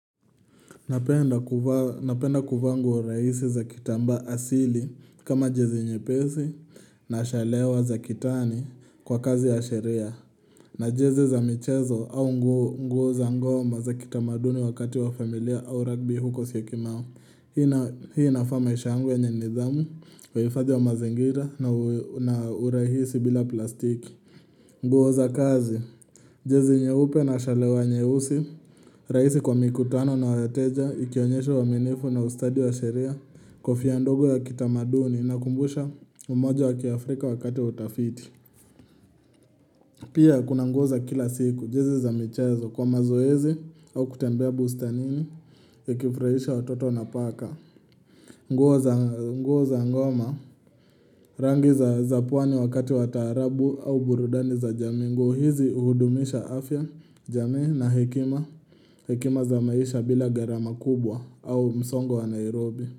Napenda kuvaa nguo rahisi za kitamba asili kama jezi nyepesi na shalewa za kitani kwa kazi ya sheria. Na jezi za michezo au nguo za nguo za kitamaduni wakati wa familia au rugby huko Syokimau. Hii inafaa maisha yangu yenye nidhamu, uhifadhi wa mazingira na urahisi bila plastiki nguo za kazi. Jezi nyeupe na shale wa nyeusi, rahisi kwa mikutano na wateja, ikionyesha uaminifu na ustadi wa sheria, kofia ndogo ya kitamaduni unakumbusha umoja wa kiafrika wakati wa utafiti. Pia kuna nguo za kila siku. Jezi za michezo kwa mazoezi au kutembea bustanini nikifurahisha watoto na paka nguo za ngoma, rangi za pwani wakati wa taarabu au burudani za jamii. Nguo hizi uhudumisha afya, jamii na hekima Hekima za maisha bila gharama kubwa au msongo wa Nairobi.